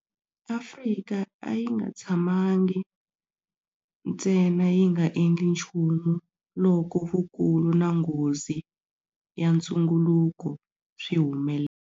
Afrika a yi nga tshamangi ntsena yi nga endli nchumu loko vukulu na nghozi ya ntunguluko swi humelela.